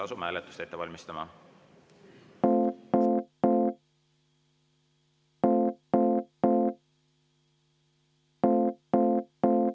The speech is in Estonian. Asume hääletust ette valmistama.